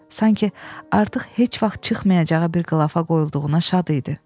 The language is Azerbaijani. Sanki artıq heç vaxt çıxmayacağı bir qılalafa qoyulduğuna şad idi.